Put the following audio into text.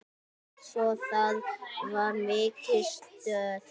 Svo það var mikið stuð.